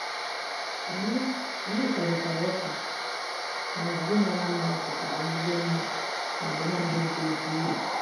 Anyị Anyị kparịtara ụka ma ngwugwu mara mma ọ pụtara ezigbo mma ma ọ bụ naanị ego dị elu.